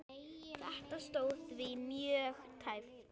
Þetta stóð því mjög tæpt.